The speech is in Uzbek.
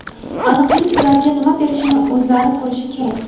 Aniqlik ularga nima berishini o‘zlari ko‘rishi kerak”.